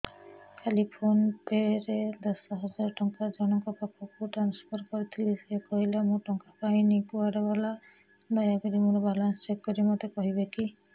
କାଲି PhonePe ରେ ଦଶ ହଜାର ଟଙ୍କା ଜଣକ ପାଖକୁ ଟ୍ରାନ୍ସଫର୍ କରିଥିଲି ସେ କହିଲା ମୁଁ ଟଙ୍କା ପାଇନି କୁଆଡେ ଗଲା ଦୟାକରି ମୋର ବାଲାନ୍ସ ଚେକ୍ କରି ମୋତେ କହିବେ କି